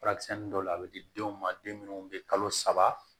Furakisɛ dɔw la a bɛ di denw ma den minnu bɛ kalo saba